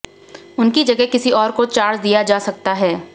उनकी जगह किसी ओर को चार्ज दिया जा सकता है